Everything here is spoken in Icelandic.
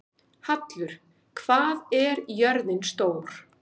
Hallur, hvað er jörðin stór?